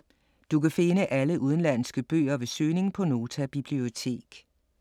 Du kan finde alle udenlandske bøger ved søgning på Nota Bibliotek.